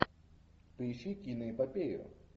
поищи киноэпопею